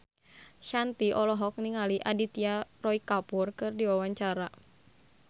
Shanti olohok ningali Aditya Roy Kapoor keur diwawancara